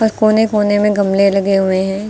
पर कोने कोने में गमले लगे हुए हैं।